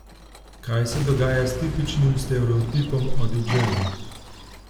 Kaj se dogaja s tipičnim stereotipom o didžeju?